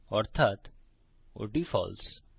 অর্থাত ওটি ফালসে